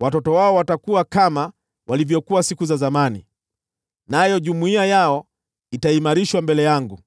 Watoto wao watakuwa kama walivyokuwa siku za zamani, nayo jumuiya yao itaimarishwa mbele yangu;